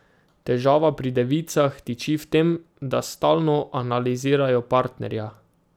Težava pri devicah tiči v tem, da stalno analizirajo partnerja.